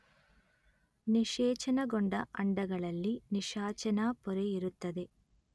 ನಿಶೇಚನಗೊಂಡ ಅಂಡಗಳಲ್ಲಿ ನಿಶಾಚನಾ ಪೊರೆ ಇರುತ್ತದೆ